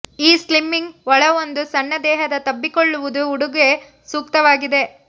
ಈ ಸ್ಲಿಮ್ಮಿಂಗ್ ಒಳ ಒಂದು ಸಣ್ಣ ದೇಹದ ತಬ್ಬಿಕೊಳ್ಳುವುದು ಉಡುಗೆ ಸೂಕ್ತವಾಗಿದೆ